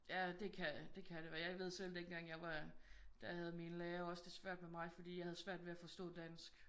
Ja det kan det kan det og jeg ved selv dengang jeg var der havde min lærer også det svært med mig fordi jeg havde svært ved at forstå dansk